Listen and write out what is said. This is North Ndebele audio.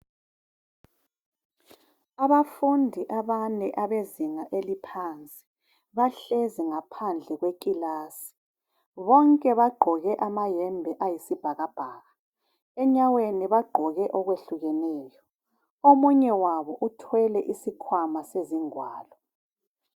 Abafundi abane abezinga eliphansi bahlezi ngaphandle kwekilasi bonke bagqoke amayembe ayisibhakabhaka enyaweni bagqoke okwehlukeneyo omunye wabo uthwele isikhwama sezingwalo.